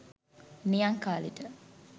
නියං කාලෙට